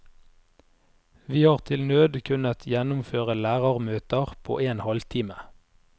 Vi har til nød kunnet gjennomføre lærermøter på en halvtime.